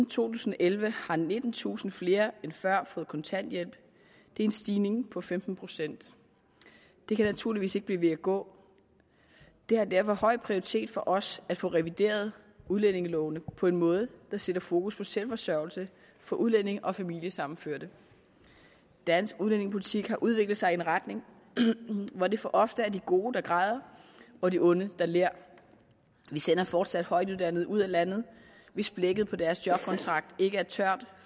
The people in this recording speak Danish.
tusind og elleve har nittentusind flere end før fået kontanthjælp det er en stigning på femten procent det kan naturligvis ikke blive ved at gå det har derfor høj prioritet for os at få revideret udlændingelovene på en måde der sætter fokus på selvforsørgelse for udlændinge og familiesammenførte dansk udlændingepolitik har udviklet sig i en retning hvor det for ofte er de gode der græder og de onde der ler vi sender fortsat højtuddannede ud af landet hvis blækket på deres jobkontrakt ikke er tørt